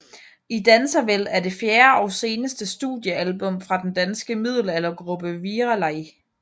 I danser vel er det fjerde og seneste studiealbum fra den danske middelaldergruppe Virelai